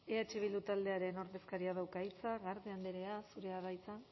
eh bildu taldearen ordezkariak dauka hitza garde andrea zurea da hitza